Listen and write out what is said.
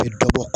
Bɛ dɔ bɔ